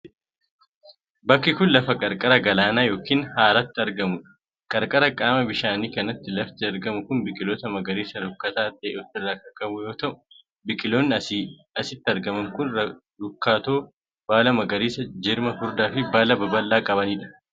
Bakki kun, lafa qarqara galaanaa yookin haraatti argamuu dha. Qarqara qaama bishaanii kanatti lafti argamu kun biqiloota magariisa rukkataa ta'e of irraa kan qabu yoo ta'u, biqiloonni asitti argaman kun rukkatoo, baala magariisa, jirma furdaa fi baala baballaa kan qabanii dha.